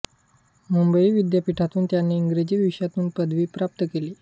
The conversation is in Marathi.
मुंबई विद्यापीठातून त्यांनी इंग्रजी विषयातून पदवी प्राप्त केली